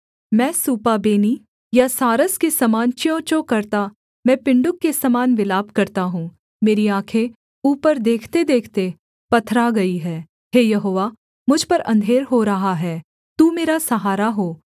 मैं सूपाबेनी या सारस के समान च्यूंच्यूं करता मैं पिण्डुक के समान विलाप करता हूँ मेरी आँखें ऊपर देखतेदेखते पत्थरा गई हैं हे यहोवा मुझ पर अंधेर हो रहा है तू मेरा सहारा हो